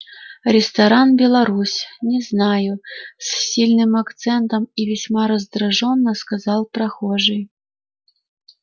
ресторан беларусь не знаю с сильным акцентом и весьма раздражённо сказал прохожий